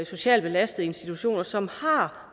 socialt belastede institutioner som